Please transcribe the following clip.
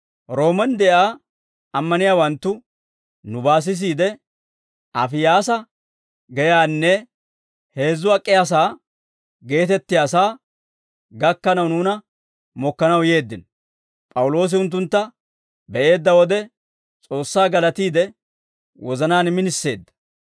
Roomen de'iyaa ammaniyaawanttu nubaa sisiide, Afiyaasaa Geyaanne «Heezzu Ak'iyaasaa geetettiyaasaa» gakkanaw nuuna mokkanaw yeeddino; P'awuloosi unttuntta be'eedda wode S'oossaa galatiide, wozanaan miniseedda.